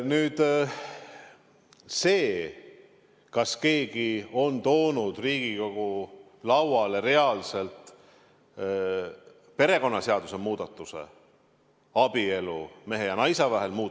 Nüüd sellest, kas keegi on toonud Riigikogu lauale reaalselt perekonnaseaduse muudatuse, mis käsitleb abielu mehe ja naise vahel.